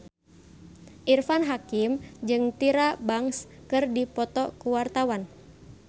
Irfan Hakim jeung Tyra Banks keur dipoto ku wartawan